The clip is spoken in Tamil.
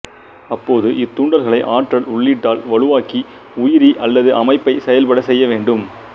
அப்போது இத்தூண்டல்களை ஆற்றல் உள்ளீட்டால் வலுவாக்கி உயிரி அல்லது அமைப்பைச் செயல்படச் செய்யவேண்டும்